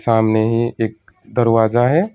सामने ही एक दरवाजा है।